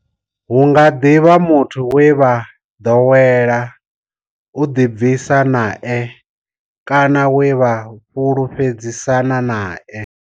Hu nga ḓi vha muthu we vha ḓowela u ḓibvisa nae kana we vha fhulufhedzisana nae.